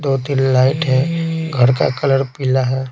दो दिन लाइट है घर का कलर पीला है।